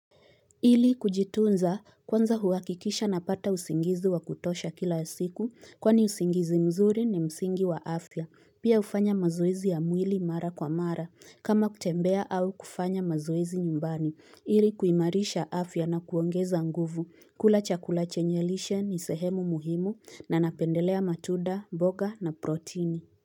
Ili kujitunza kwanza huakikisha napata usingizi wa kutosha kila siku kwani usingizi mzuri ni msingi wa afya pia hufanya mazoezi ya mwili mara kwa mara kama kutembea au kufanya mazoezi nyumbani ili kuhimarisha afya na kuongeza nguvu kula chakula chenye lishe ni sehemu muhimu na napendelea matuda, mboga na protini.